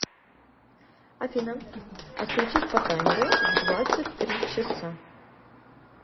афина отключись по таймеру в двадцать три часа